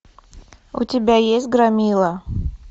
у тебя есть громила